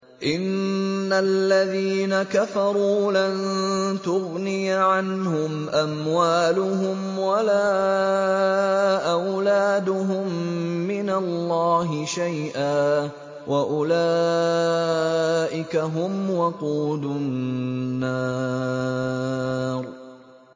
إِنَّ الَّذِينَ كَفَرُوا لَن تُغْنِيَ عَنْهُمْ أَمْوَالُهُمْ وَلَا أَوْلَادُهُم مِّنَ اللَّهِ شَيْئًا ۖ وَأُولَٰئِكَ هُمْ وَقُودُ النَّارِ